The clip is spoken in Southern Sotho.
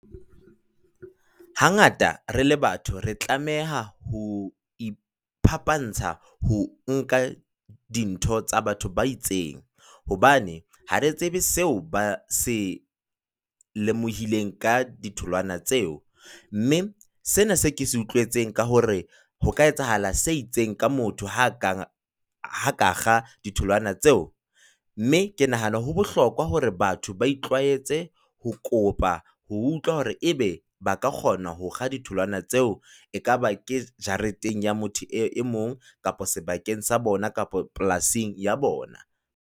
Hangata re le batho re tlameha ho iphapantsha ho nka dintho tsa batho ba itseng hobane ha re tsebe seo ba se lemohileng ka ditholwana tseo, mme sena seo ke se utlwetseng ka hore ho ka etsahala se itseng ka motho ha a ka kga ditholwana tseo, mme ke nahana ho bohlokwa hore batho ba itlwaetse ho kopa ho utlwa hore ebe ba ka kgona ho kga ditholwana tseo, ekaba ke jareteng ya motho e mong kapa sebakeng sa bona kapa polasing ya bona.